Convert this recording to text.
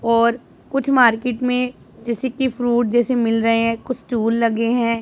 और कुछ मार्केट मे जैसे कि फ्रूट जैसे मिल रहे है कुछ स्टूल लगे है।